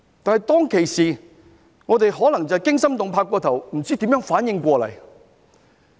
但是，當其時我們可能就是過於驚心動魄，不知如何反應過來。